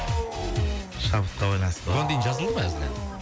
шабытқа байланысты ғой бұған дейін жазылды ма әзіл ән